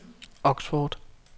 Oxford